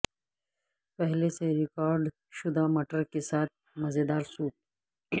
پہلے سے ریکارڈ شدہ مٹر کے ساتھ مزیدار سوپ